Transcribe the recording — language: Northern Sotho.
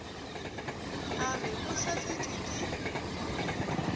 a re o hlasetšwe ke